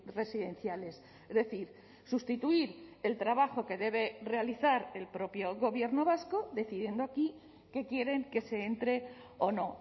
residenciales es decir sustituir el trabajo que debe realizar el propio gobierno vasco decidiendo aquí que quieren que se entre o no